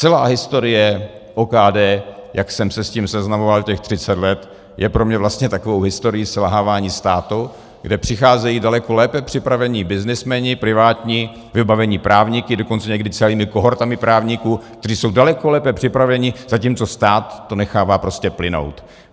Celá historie OKD, jak jsem se s tím seznamoval těch 30 let, je pro mne vlastně takovou historií selhávání státu, kde přicházejí daleko lépe připravení byznysmeni privátní, vybavení právníky, dokonce někdy celými kohortami právníků, kteří jsou daleko lépe připraveni, zatímco stát to nechává prostě plynout.